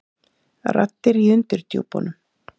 Raddir í undirdjúpunum.